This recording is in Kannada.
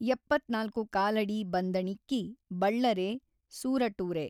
ಎಪ್ಪತ್ತ್ನಾಲ್ಕು ಕಾಲಡಿ ಬಂದಣಿಕ್ಕೆ ಬಳ್ಳರೆ ಸೂಱಟೂರೆ